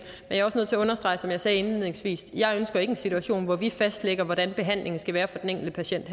er også nødt til at understrege som jeg sagde indledningsvis at jeg ikke ønsker en situation hvor vi herinde fastlægger hvordan behandlingen skal være for den enkelte patient